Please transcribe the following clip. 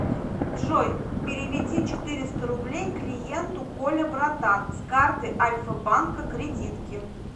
джой переведи четыреста рублей клиенту коля братан с карты альфа банка кредитки